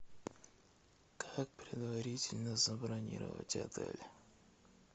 как предварительно забронировать отель